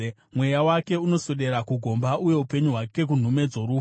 Mweya wake unoswedera kugomba, uye upenyu hwake kunhume dzorufu.